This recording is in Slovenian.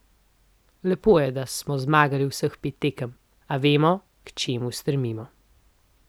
Lepo je, da smo zmagali vseh pet tekem, a vemo, k čemu stremimo.